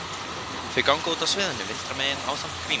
Þau ganga af stað út af sviðinu vinstra megin ásamt Grími.